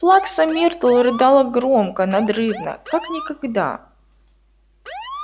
плакса миртл рыдала громко надрывно как никогда